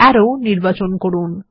আরো নির্বাচন করুন